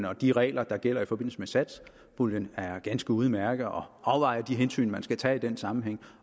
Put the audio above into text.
og de regler der gælder i forbindelse med satspuljen er ganske udmærkede og afvejer de hensyn man skal tage i den sammenhæng